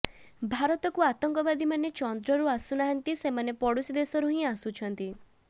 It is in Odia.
ଭାରତକୁ ଆତଙ୍କବାଦୀମାନେ ଚନ୍ଦ୍ରରୁ ଆସୁନାହାନ୍ତି ସେମାନେ ପଡୋଶୀ ଦେଶରୁ ହିଁ ଆସୁଛନ୍ତି